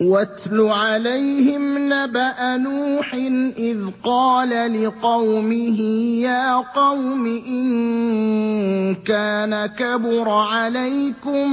۞ وَاتْلُ عَلَيْهِمْ نَبَأَ نُوحٍ إِذْ قَالَ لِقَوْمِهِ يَا قَوْمِ إِن كَانَ كَبُرَ عَلَيْكُم